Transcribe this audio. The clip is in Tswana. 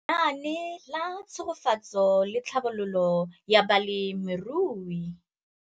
Lenaane la Tshegetso le Tlhabololo ya Balemirui